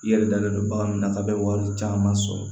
I yɛrɛ dalen don bagan min na k'a bɛ wari caman sɔrɔ